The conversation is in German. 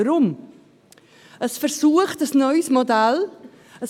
Weshalb? – Es probiert ein neues Modell aus.